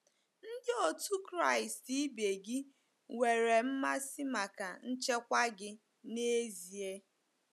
Ndị otu Kraịst ibe gị nwere mmasị maka nchekwa gị n'ezie.